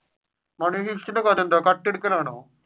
money heist ഇന്റെ കഥ എന്താണ് കട്ട് എടുക്കൽ ആണോ?